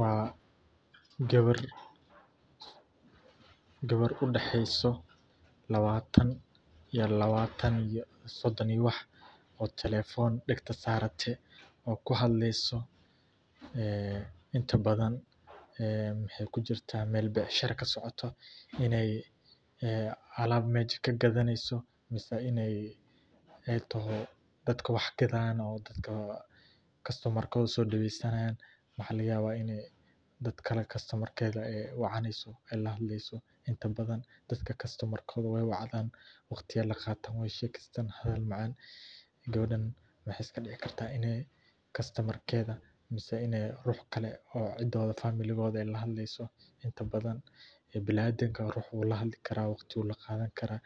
Waa gawar, gawar udexeeyso labaatan ila sodon iyo wax oo telefon dagta saarate oo kuhadleyso, ee inta badan waxaay kujirta meel becshara kasocoto inaay alaab meja kagadaneyso mise inaay taho dadka wax gadaayaan, dadka kastamar kooda soo daweysanaayaan. Waxaa laga yaabaa dadkale kastomar keeda wacaneysoo eey lahadleeyso inta badan dadka kastomar kooda wey wacdaan, waqti aay laqaataan, weey shekeystaan hadal macaan, gawadaan waxaa iska dici kartaa inaay kastomar keeda mise inaay ruux kale oo cidooda familigooda aay la hadleeyso inta badan ee biniadamka rux wuu la hadli karaa waqti wuu la qaadan karaa